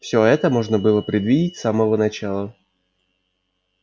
все это можно было предвидеть с самого начала